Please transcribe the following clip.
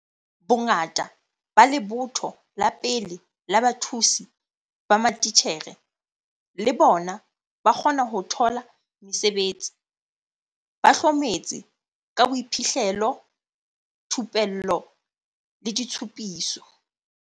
Bongata ba lebotho la pele la bathusi ba matitjhere, le bona, ba kgona ho thola mesebetsi, ba hlometse ka boiphihlelo, thupello le ditshupiso.